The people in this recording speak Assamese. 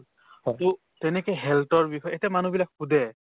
to তেনেকে health ৰ বিষয়ে এতে মানুহবিলাক সোধে